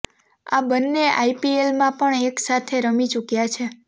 આ બન્ને આઈપીએલમાં પણ એક સાથે રમી ચુક્યા છે